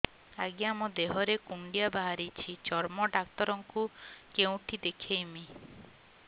ଆଜ୍ଞା ମୋ ଦେହ ରେ କୁଣ୍ଡିଆ ବାହାରିଛି ଚର୍ମ ଡାକ୍ତର ଙ୍କୁ କେଉଁଠି ଦେଖେଇମି